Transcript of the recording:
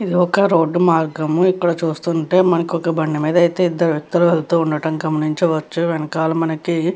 ఇదొక రోడ్డు మార్గము ఇక్కడ చూస్తుంటే మనకి ఒక బండి మీద అయితే ఇద్దరు వ్యక్తులు వెళ్తుండడం గమనించవచ్చు. వెనకాల మనకి --